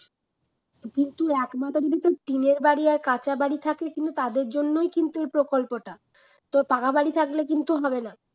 কিন্তু একমাত্র যদি তোর টিনের বাড়ি আর কাঁচা বাড়ি থাকে কিন্তু তাদের জন্যই কিন্তু এ প্রকল্পটা তো পাকা বাড়ি থাকলে কিন্তু হবে না